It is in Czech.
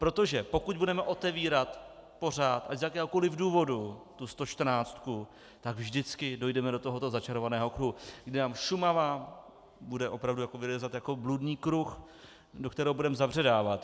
Protože pokud budeme otevírat pořád a z jakéhokoliv důvodu tu 114, tak vždycky dojdeme do tohoto začarovaného kruhu, kde nám Šumava bude opravdu vylézat jako bludný kruh, do kterého budeme zabředávat.